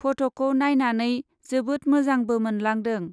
पट'खौ नाइनानै जोबोद मोजांबो मोनलांदों।